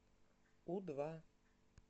у два